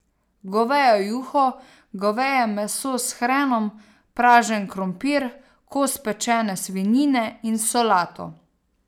Govejo juho, goveje meso s hrenom, pražen krompir, kos pečene svinjine in solato.